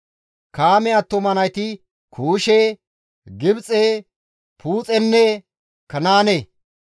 Kaame attuma nayti Kuushe, Gibxe, Puuxenne Kanaane.